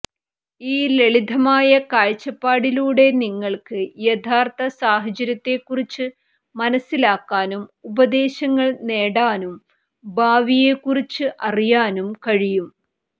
ഈ ലളിതമായ കാഴ്ചപ്പാടിലൂടെ നിങ്ങൾക്ക് യഥാർഥ സാഹചര്യത്തെക്കുറിച്ച് മനസ്സിലാക്കാനും ഉപദേശങ്ങൾ നേടാനും ഭാവിയെക്കുറിച്ച് അറിയാനും കഴിയും